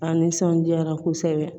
A nisɔndiyara kosɛbɛ